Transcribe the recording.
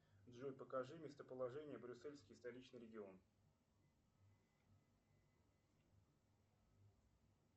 джой покажи местоположение брюссельский столичный регион